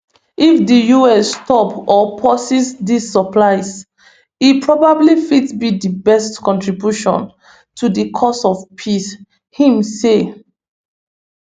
if di us stop or pauses dis supplies e probably fit be di best contribution to di cause of peace im say